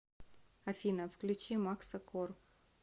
афина включи макса кор